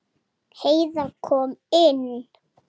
Heiða kom inn.